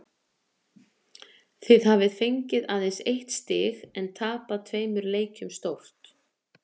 Þið hafið fengið aðeins eitt stig en tapað tveimur leikjum stórt?